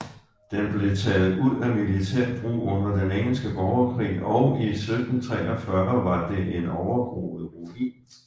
Den blev taget ud af militær brug under den engelske borgerkrig og i 1743 var det en overgroet ruin